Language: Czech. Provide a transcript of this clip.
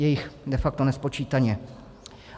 Je jich de facto nespočítaně.